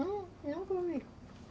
Nun nunca vi.